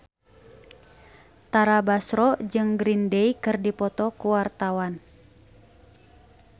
Tara Basro jeung Green Day keur dipoto ku wartawan